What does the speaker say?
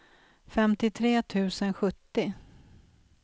femtiotre tusen sjuttio